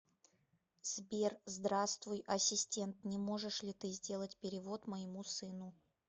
сбер здравствуй ассистент не можешь ли ты сделать перевод моему сыну